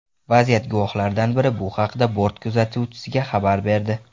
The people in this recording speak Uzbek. Vaziyat guvohlaridan biri bu haqda bort kuzatuvchisiga xabar berdi.